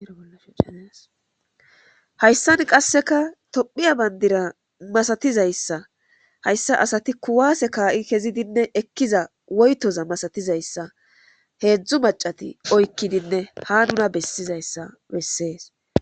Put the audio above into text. Ollascaneeshayssan qasseka tophiya bandira masatizayssa hayssa asati kuwaase kaa'i kezidinne ekkiza woytoza masatizayssa heedzdzu macati oykkidinne ha nuna bessizayssa bessees